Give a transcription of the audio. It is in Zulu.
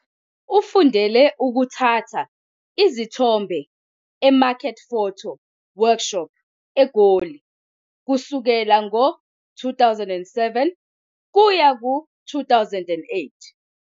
Ufundele ukuthatha izithombe eMarket Photo Workshop eGoli kusuka ngo-2007 kuya ku-2008.